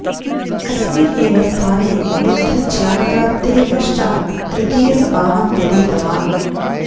अस्मिन् एव स्थाने बुद्ध ज्ञानप्राप्तेः पश्चात् तृतियसपाहं व्यतीतवान्